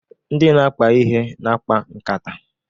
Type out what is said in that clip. Ndị na-akpa ihe na-akpa nkata.